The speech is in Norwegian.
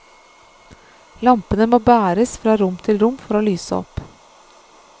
Lampene må bæres fra rom til rom for å lyse opp.